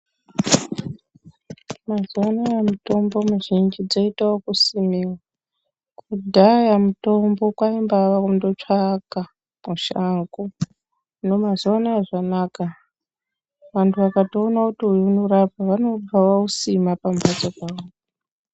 Mazuwa anaya mitombo mizhinji dzoite yekusimiwa kudhaya mutombo kwaingawa kundotsvaka mushango hino mazuwa anaya zvanaka vanhu vakatoone kuti uyu unorapa vanobva vausima pamhatso pawo.